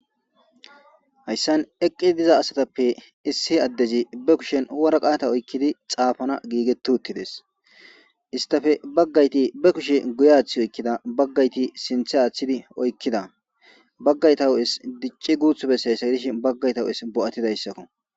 Hayssan eqqi diza asatappe issi addezi be kushen waraqaata oykkidi xaafanas giigetuttides istafe baggayti be kushe guye aaththi oykkida baggayti sinthe aaththidi oykkida baggayta hu'es dicci guuthu bessay sayidish baggayta huphes bo'atidayssakko.